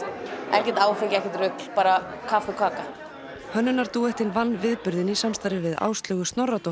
ekkert áfengi ekkert rugl bara kaffi og kaka hönnunardúettinn vann viðburðinn í samstarfi við Áslaugu Snorradóttur